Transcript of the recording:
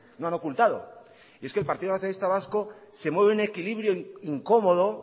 no han ocultado y es que el partido nacionalista vasco se mueve en un equilibrio incomodo